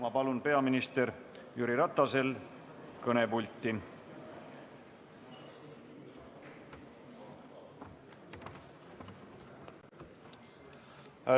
Ma palun peaminister Jüri Ratase kõnepulti!